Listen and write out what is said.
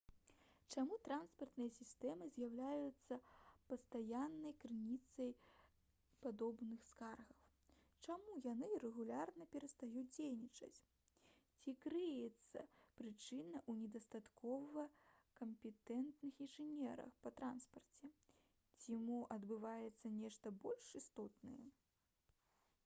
чаму транспартныя сістэмы з'яўляюцца пастаяннай крыніцай падобных скаргаў чаму яны рэгулярна перастаюць дзейнічаць ці крыецца прычына ў недастаткова кампетэнтных інжынерах па транспарце ці мо адбываецца нешта больш істотнае